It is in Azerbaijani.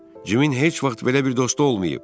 Cimin heç vaxt belə bir dostu olmayıb.